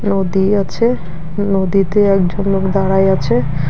নদী আছে নদীতে একজন লোক দাঁড়ায় আছে।